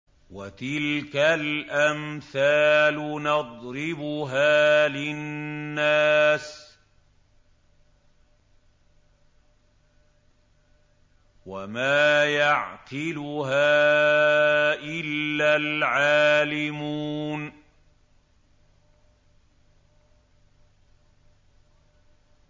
وَتِلْكَ الْأَمْثَالُ نَضْرِبُهَا لِلنَّاسِ ۖ وَمَا يَعْقِلُهَا إِلَّا الْعَالِمُونَ